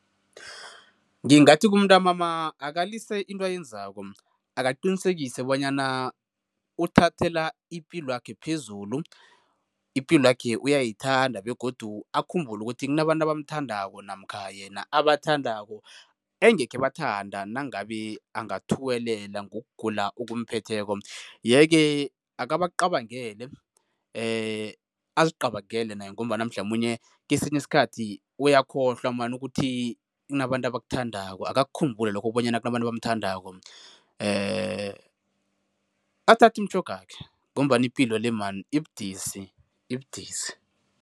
Ngingathi kumntamama, akalise into ayenzako. Akaqinisekise bonyana uthathela ipilwakhe phezulu, ipilwakhe uyayithanda begodu akhumbule ukuthi kuabantu abamthandako namkha yena abathandako, engekhe bathanda nangabe angathuwelela ngokugula okumphetheko yeke akabacabangele, azicabangele naye ngombana mhlamunye kesinye isikhathi uyakhohlwa man ukuthi kunabantu abakuthandako, akukhumbule lokho ukuthi kunabantu abamthandako. Athathe imitjhogakhe ngombana ipilo le man ibudisi, ibudisi.